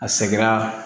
A sɛgɛrɛ